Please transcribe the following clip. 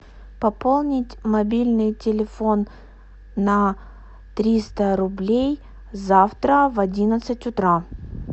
пополнить мобильный телефон на триста рублей завтра в одиннадцать утра